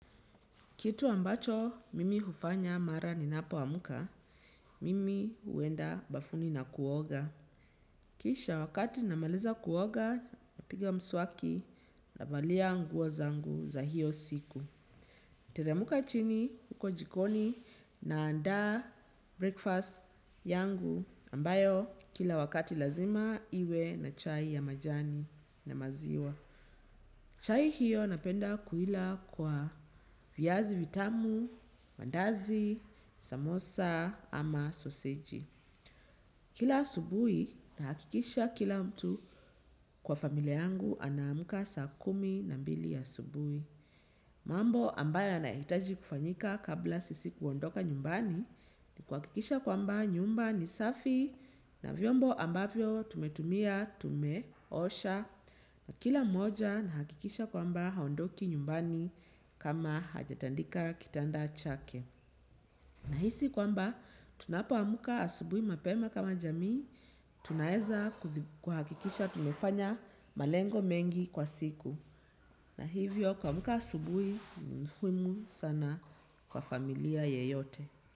Kitu ambacho mimi hufanya mara ninapoamka, mimi huenda bafuni na kuoga. Kisha wakati namaliza kuoga, napiga mswaki navalia nguo zangu za hiyo siku. Nateremka chini huko jikoni naandaa breakfast yangu ambayo kila wakati lazima iwe na chai ya majani na maziwa. Chai hiyo napenda kuila kwa viazi vitamu, mandazi, samosa ama soseji. Kila asubuhi nahakikisha kila mtu kwa familia yangu anaamka saa kumi na mbili asubuhi. Mambo ambayo anahitaji kufanyika kabla sisi kuondoka nyumbani ni kuhakikisha kwamba nyumba ni safi na vyombo ambavyo tumetumia, tumeosha. Na kila mmoja anahakikisha kwamba haondoki nyumbani kama hajatandika kitanda chake. Nahisi kwamba tunapoamka asubuhi mapema kama jamii, tunaweza kuhakikisha tumefanya malengo mengi kwa siku. Na hivyo kuamka asubuhi ni muhimu sana kwa familia yeyote.